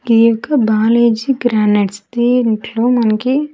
ఈ యొక్క బాలేజీ గ్రానైట్స్ దీంట్లో మనకి.